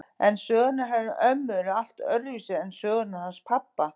En sögurnar hennar ömmu eru allt öðruvísi en sögurnar hans pabba.